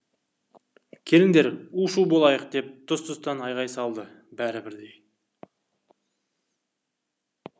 келіңдер у шу болайық деп тұс тұстан айғай салды бәрі бірдей